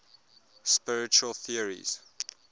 spiritual theories